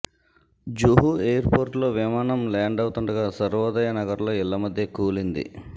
Juhu airport లో విమానం ల్యాండవుతుండగా సర్వోదయ నగర్ లో ఇళ్ల మధ్య కూలింది